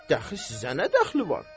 Dəxi sizə nə dəxli var?